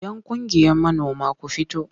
Yan ƙungiyar manoma ku fito!